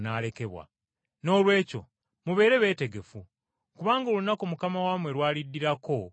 “Noolwekyo mubeere beetegefu, kubanga olunaku Mukama wammwe lw’aliddirako temulumanyi.